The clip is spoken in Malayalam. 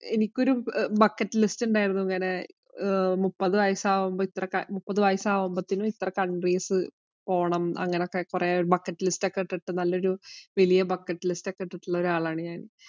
എനിക്ക് ഒരു bucket list ഉണ്ടായിരുന്നു. ഇങ്ങനെ മുപ്പത് വയസാകുമ്പോള്‍ മുപ്പതു വയസാകുമ്പോഴത്തേന് ഇത്ര countries പോണം അങ്ങനെയൊക്കെകൊറെ bucket list ഒക്കെ എടുത്തിട്ടു നല്ല ഒരു വലിയ bucket list ഒക്കെ ഇട്ടിട്ടുള്ള ഒരാളാണ് ഞാന്‍.